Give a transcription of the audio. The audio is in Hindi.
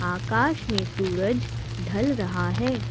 आकाश में सूरज ढल रहा है।